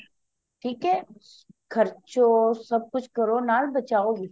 ਠੀਕ ਐ ਖ਼ਰਚੋ ਸਭ ਕੁਛ ਕਰੋ ਨਾਲ ਬਚਾਓ ਵੀ